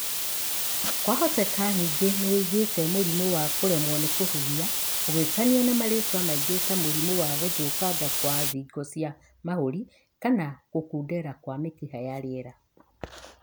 Kwahoteka ningĩ nĩwĩiguĩte mũrimu wa kũremwo nĩ kũhihia ũgĩtanio na marĩtwa maingĩ ta mũrimũ wa gũthũkanga kwa thingo cia mahũri, kana gũkundera kwa mĩkiha ya rĩera